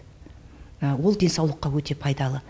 ол денсаулыққа өте пайдалы